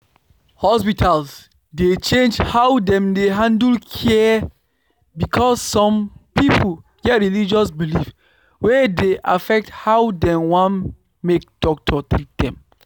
hospitals dey change how dem dey handle care because some people get religious beliefs wey dey affect how dem wan make doctors treat dem